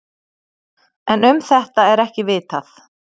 En um þetta er ekki vitað.